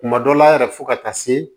Kuma dɔ la yɛrɛ fo ka taa se